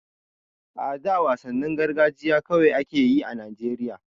A da wasannin gargajiya kawai a ke yi a Najeriya.